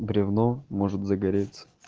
бревно может загореться